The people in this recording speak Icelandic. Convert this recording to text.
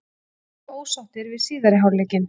Við erum mjög ósáttir við síðari hálfleikinn.